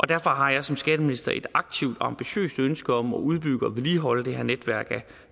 derfor har jeg som skatteminister et aktivt og ambitiøst ønske om at udbygge og vedligeholde det her netværk af